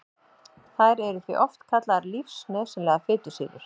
Þær eru því oft kallaðar lífsnauðsynlegar fitusýrur.